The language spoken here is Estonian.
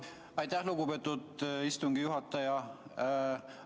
Aitäh, lugupeetud istungi juhataja!